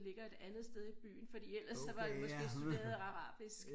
Ligger et andet sted i byen fordi ellers så var det måske studeret arabisk